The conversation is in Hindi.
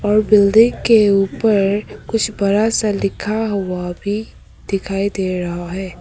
और बिल्डिंग के ऊपर कुछ बड़ा सा लिखा हुआ भी दिखाई दे रहा है।